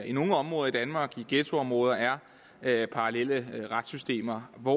i nogle områder i danmark i ghettoområder er er parallelle retssystemer hvor